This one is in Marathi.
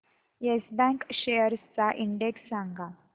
येस बँक शेअर्स चा इंडेक्स सांगा